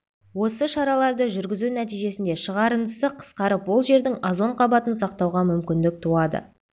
осы шараларды жүргізу нәтижесінде шығарындысы қысқарып ол жердің озон қабатын сақтауға мүмкіндік туады